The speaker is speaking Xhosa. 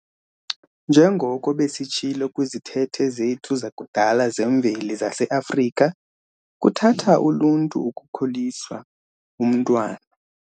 Njengoko besitsho kwizithethe zethu zakudala zemveli zase-Afrika "kuthatha uluntu ukukhulisa umntwana".